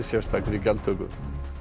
sérstakri gjaldtöku